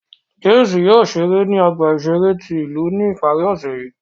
James yóò ṣere ni ọgba iṣere ti ilu ni ipari ọse yii.